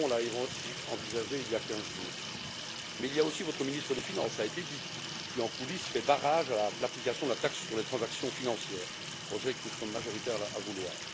Macron a soulevé la question il y a quinze jours. Mais il y a aussi votre ministre des Finances cela a été dit qui en coulisses fait barrage à l'application de la taxe sur les transactions financières, projet que nous sommes majoritaires à vouloir.